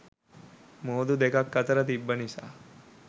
මුහුදු දෙකක් අතර තිබ්බ නිසා.